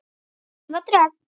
Elfa Dröfn.